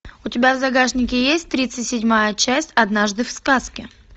у т ебя в загашнике есть тридцать седьмая часть однажды в сказке